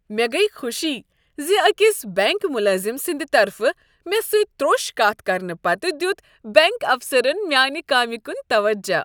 مےٚ گٔیہ خوشی ز أکس بینک ملٲزم سندِ طرفہٕ مےٚ سۭتۍ تروٚش کتھ کرنہٕ پتہٕ دیُت بینک افسرن میانہ کامہ کُن توجہ۔